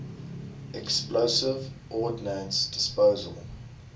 explosive ordnance disposal